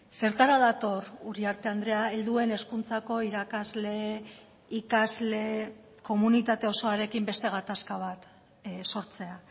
zertara dator uriarte andrea helduen hezkuntzako irakasle ikasle komunitate osoarekin beste gatazka bat sortzea